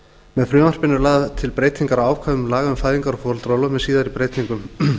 með frumvarpinu eru lagðar til breytingar á ákvæðum laga um fæðingar og foreldraorlof með síðari breytingum